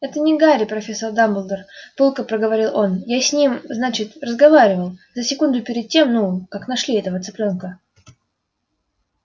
это не гарри профессор дамболдор пылко проговорил он я с ним значит разговаривал за секунду перед тем ну как нашли этого цыплёнка